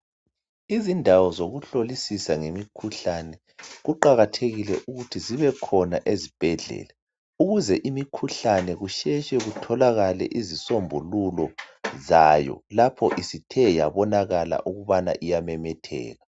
Izindawo zokuhlolisisa ngemikhuhlane kuqakathekile ukuthi zibekhona ezibhedlela ukuze imikhuhlane kusheshe kutholakale izisombululo zayo lapho isithe yabonakala ukubana iyamemetheka.